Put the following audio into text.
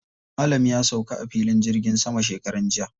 Malam ya sauka a filin jirgin sama shekaran jiya.